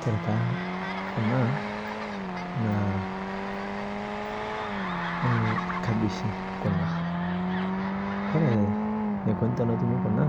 Kore taa kuna naa ee kabishii kuna. Kore neikoni tonotuumi kuna